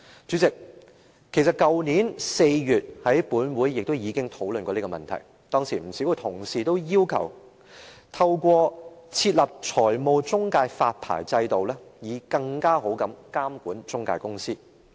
主席，去年4月本會也曾討論這問題，當時不少同事均要求透過設立財務中介發牌制度以更好地監管中介公司。